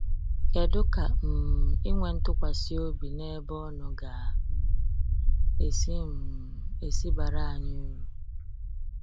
kedụ ka um ịnwe ntukwasi obi n'ebe ono ga um esi um esi bara anyị uru?